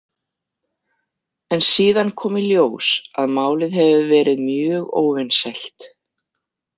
En síðan kom í ljós að málið hefur verið mjög óvinsælt.